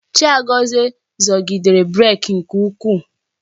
Chiagozie zọgidere brek nke ukwuu.